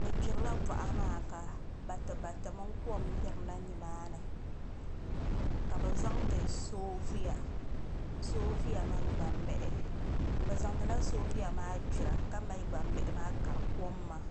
bi gbirila boɣa maa ka bati bati mini kom yirina nimaani ka bi zaŋdi soovuya mini gbambihi bi zaŋdila soobuya maa gbira ka mali gbambihi maa kari kom maa